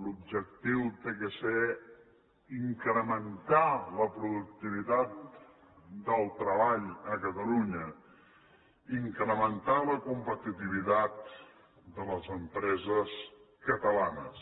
l’objectiu ha de ser incrementar la productivitat del treball a catalunya incrementar la competitivitat de les empreses catalanes